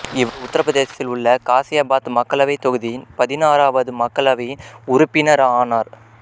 இவர் உத்தரப் பிரதேசத்தில் உள்ள காசியாபாத் மக்களவைத் தொகுதியின் பதினாறாவது மக்களவையில் உறுப்பினர் ஆனார்